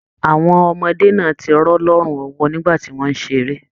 Àwọn ọmọdé náà tí rọ̀ lọrùn ọwọ nígbà tí wọn n ṣeré.